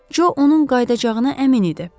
Co onun qayıdacağına əmin idi.